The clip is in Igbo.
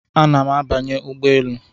Ana m abanye ụgbọ elu